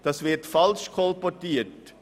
Das wird falsch kolportiert.